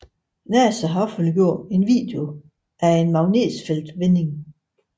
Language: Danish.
Nasa har offentliggjort en video af en magnetfeltsvending